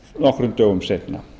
nokkrum dögum seinna